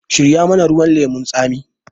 Shirya mana ruwan lemun tsami!